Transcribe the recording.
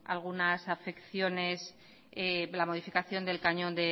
algunas afecciones la modificación del cañón